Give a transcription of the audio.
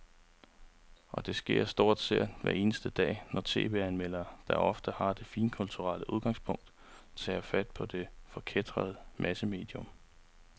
Og det sker stort set hver eneste dag, når tv-anmelderne, der ofte har det finkulturelle udgangspunkt, tager fat på det forkætrede massemedium.